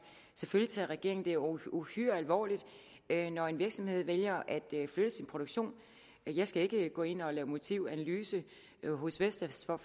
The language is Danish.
selvfølgelig tager regeringen det uhyre uhyre alvorligt når en virksomhed vælger at flytte sin produktion jeg skal ikke gå ind og lave en motivanalyse hos vestas med